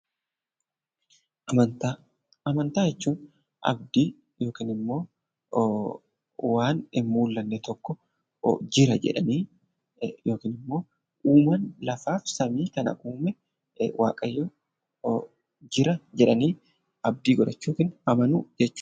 Amantaa jechuun abdii yookaan immoo waan hin mul'anne tokko jira jedhanii eeguu yookaan immoo uumaan lafaa fi samii kana uume waaqayyo jira jedhanii abdii godhachuu amanuu jechuudha.